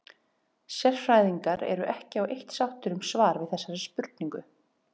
Sérfræðingar eru ekki á eitt sáttir um svar við þessari spurningu.